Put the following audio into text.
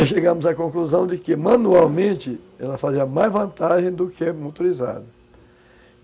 Aí chegamos à conclusão de que, manualmente, ela fazia mais vantagem do que motorizado.